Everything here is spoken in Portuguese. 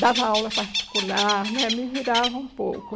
Dava aula particular né, me virava um pouco.